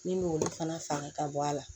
Min m'olu fana faga ka bɔ a la